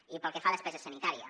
i pel que fa a despesa sanitària